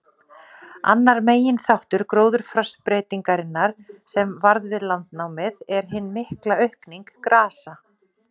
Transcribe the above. Annar meginþáttur gróðurfarsbreytingarinnar, sem varð við landnámið, er hin mikla aukning grasa.